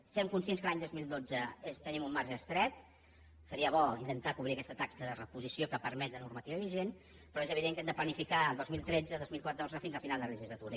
sent conscients que l’any dos mil dotze tenim un marge estret seria bo intentar cobrir aquesta taxa de reposició que permet la normativa vigent però és evident que hem de planificar dos mil tretze dos mil catorze fins al final de la legislatura